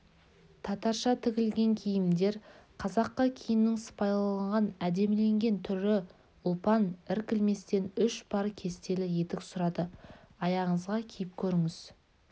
татарша тігілген киімдер қазақы киімнің сыпайыланған әдеміленген түрі ұлпан іркілместен үш пар кестелі етік сұрады аяғыңызға киіп көріңіз